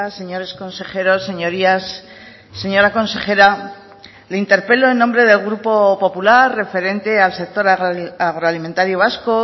señores consejeros señorías señora consejera le interpelo en nombre del grupo popular referente al sector agroalimentario vasco